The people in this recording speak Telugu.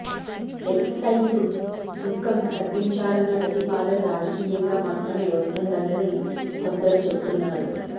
ఎక్సైజు సుంకం తగ్గించాలన్న ప్రతిపాదన రాజకీయంగా మాత్రమే వస్తున్నదని కొందరు చెపుతున్నారు